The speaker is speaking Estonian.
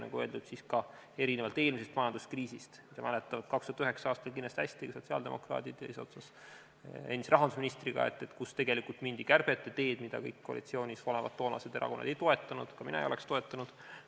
Nagu öeldud, erinevalt eelmisest majanduskriisist – seda mäletavad 2009. aastal kindlasti hästi ka sotsiaaldemokraadid eesotsas endise rahandusministriga –, kus tegelikult mindi kärbete teed, mida kõik koalitsioonis olevad tollased erakonnad ei toetanud, ka mina ei oleks toetanud.